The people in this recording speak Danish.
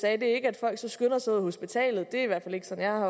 er ikke at folk så skynder sig ud af hospitalet det er i hvert fald ikke sådan